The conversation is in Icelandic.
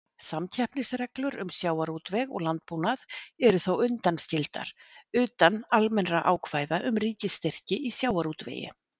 Samkeppnisreglur um sjávarútveg og landbúnað eru þó undanskildar, utan almennra ákvæða um ríkisstyrki í sjávarútvegi.